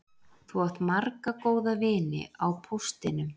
Þú átt marga góða vini á póstinum